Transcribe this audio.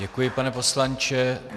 Děkuji, pane poslanče.